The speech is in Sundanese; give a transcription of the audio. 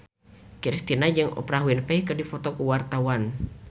Kristina jeung Oprah Winfrey keur dipoto ku wartawan